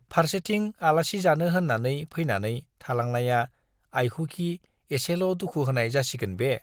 फार्सेथिं आलासि जानो होन्नानै फैनानै थालांनाया आइखौखि एसेल' दुखु होनाय जासिगोन बे !